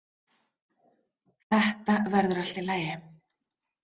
Þetta verður allt í lagi.